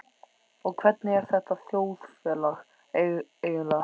Og hvernig er þetta þjóðfélag eiginlega?